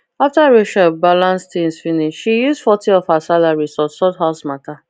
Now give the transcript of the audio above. after rachel balance things finish she use forty of her salary sort sort house matter